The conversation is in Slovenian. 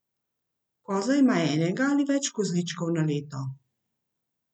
Koza ima enega ali več kozličkov na leto.